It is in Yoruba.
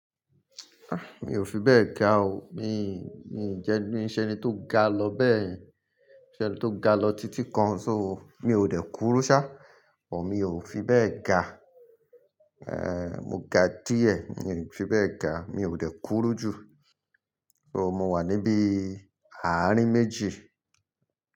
Ah! Mi ò fi bẹ́ẹ̀ ga o. Mi, mi ń jẹ ni, ṣe ni tó ga lọ bẹ́ẹ̀ yẹn. Ṣe ni tó ga lọ títí kan. So mi ò dé kúru ṣá, ò mi ò fi bẹ́ẹ̀ ga. Eh mo ga díẹ̀, mi ò fi bẹ́ẹ̀ ga. Mi ò dé kúró jù. So mo wà níbi àárín méjì.